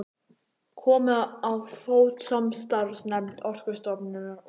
Komið á fót samstarfsnefnd Orkustofnunar og